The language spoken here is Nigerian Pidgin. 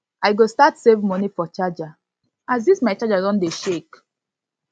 i go start save money for charger as this my charger don dey shake